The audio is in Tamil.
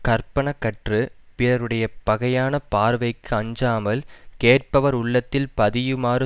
கற்பன கற்று பிறருடைய பகையான பார்வைக்கு அஞ்சாமல் கேட்பவர் உள்ளத்தில் பதியுமாறு